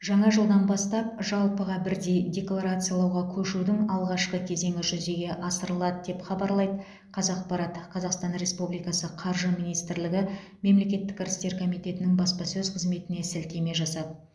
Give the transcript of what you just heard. жаңа жылдан бастап жалпыға бірдей декларациялауға көшудің алғашқы кезеңі жүзеге асырылады деп хабарлайды қазақпарат қазақстан республикасы қаржы министрлігі мемлекеттік кірістер комитетінің баспасөз қызметіне сілтема жасап